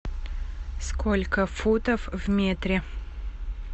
сколько футов в метре